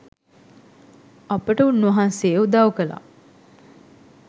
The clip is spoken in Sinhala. අපට උන්වහන්සේ උදව් කළා.